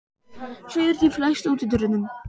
Sigurdríf, læstu útidyrunum.